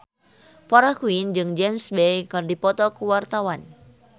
Farah Quinn jeung James Bay keur dipoto ku wartawan